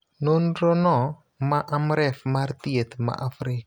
Nonrono, ma Amref mar Thieth ma Afrika,